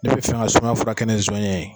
Ne be fɛn ka n ka sumaya fɔrakɛ ni zɔɲɛ ye